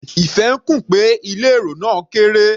Ife ń kùn pé ilé èrò náà kéré.